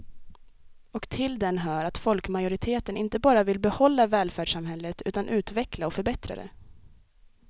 Och till den hör att folkmajoriteten inte bara vill behålla välfärdssamhället utan utveckla och förbättra det.